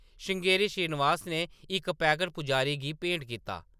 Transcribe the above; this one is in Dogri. ” श्रृंगेरी श्रीनिवास ने इक पैकट पुजारी गी भेंट कीता।